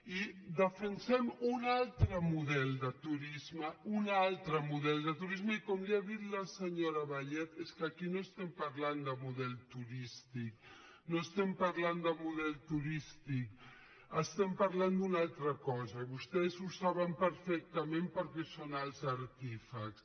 i defensem un altre model de turisme un altre model de turisme i com li ha dit la senyora vallet és que aquí no estem parlant de model turís·tic no estem parlant de model turístic estem parlant d’una altra cosa i vostès ho saben perfectament per·què en són els artífexs